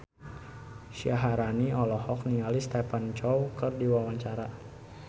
Syaharani olohok ningali Stephen Chow keur diwawancara